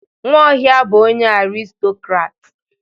Nwaohia bu onye aristokrat.